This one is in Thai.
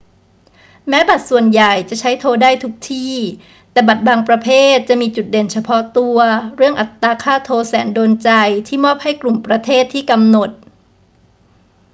แม้บัตรส่วนใหญ่จะใช้โทรได้ทุกที่ แต่บัตรบางประเภทจะมีจุดเด่นเฉพาะตัวเรื่องอัตราค่าโทรแสนโดนใจที่มอบให้กลุ่มประเทศที่กำหนด